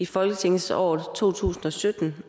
folketingsåret to tusind og sytten